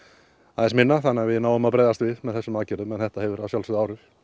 aðeins minna þannig að við náum að bregðast við með þessum aðgerðum en þetta hefur að sjálfsögðu áhrif